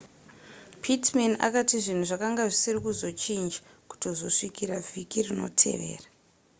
pittman akati zvinhu zvakanga zvisiri kuzochinja kutozosvikira vhiki rinotevera